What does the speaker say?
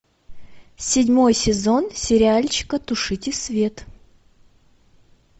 седьмой сезон сериальчика тушите свет